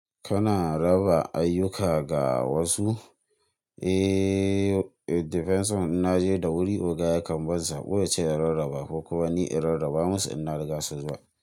Kana raba ayyuka ga wasu? Eh, defence on in naje da wuri oga yakan ban sako ya ce in rarraba ko kuma ni in rarraba musu in na riga su zuwa.